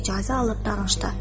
İcazə alıb danışdı.